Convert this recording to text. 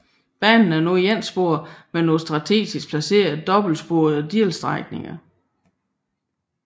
Banen er nu etsporet med nogle strategisk placerede dobbeltsporede delstrækninger